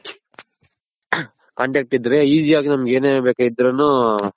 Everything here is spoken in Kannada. contact ಇದ್ರೆ Easy ಯಾಗ್ ನಮ್ಗ್ ಏನ್ ಬೇಕಾದ್ರುನು